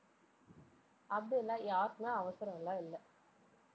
அப்படில்லா யாருக்குமே அவசரம் எல்லாம் இல்லை.